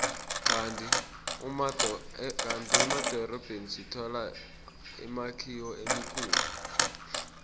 kandi emadorobheni sithola imakhiwo emikhulu